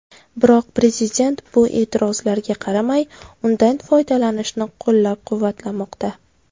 Biroq prezident bu e’tirozlarga qaramay, undan foydalanishni qo‘llab-quvvatlamoqda.